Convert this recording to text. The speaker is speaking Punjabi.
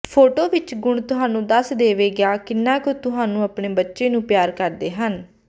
ਫੋਟੋ ਵਿੱਚ ਗੁਣ ਤੁਹਾਨੂੰ ਦੱਸ ਦੇਵੇਗਾ ਕਿੰਨਾ ਕੁ ਤੁਹਾਨੂੰ ਆਪਣੇ ਬੱਚੇ ਨੂੰ ਪਿਆਰ ਕਰਦੇ ਹਨ